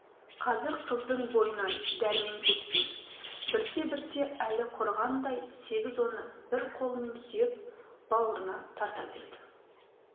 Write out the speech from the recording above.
қазір қыздың бойынан дәрмен кеткен бірте-бірте әлі құрығандай сегіз оны бір қолымен сүйеп бауырына тарта берді